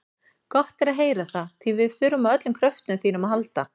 Gott er að heyra það, því við þurfum á öllum kröftum þínum að halda.